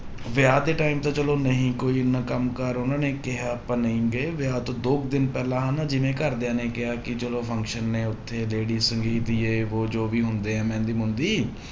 ਵਿਆਹ ਦੇ time ਤਾਂ ਚਲੋ ਨਹੀਂ ਕੋਈ ਇੰਨਾ ਕੰਮ ਕਾਰ ਉਹਨਾਂ ਨੇ ਕਿਹਾ ਆਪਾਂ ਨਹੀਂ ਗਏ ਵਿਆਹ ਤੋਂ ਦੋ ਕੁ ਦਿਨ ਪਹਿਲਾਂ ਹਨਾ ਜਿਵੇਂ ਘਰਦਿਆਂ ਨੇ ਕਿਹਾ ਕਿ ਚਲੋ function ਨੇ ਉੱਥੇ lady ਸੰਗੀਤ ਜੇ ਵੋਹ ਜੋ ਵੀ ਹੁੰਦੇ ਆ ਮਹਿੰਦੀ ਮੂੰਹਦੀ